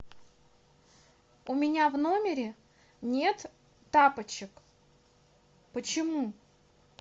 у меня в номере нет тапочек почему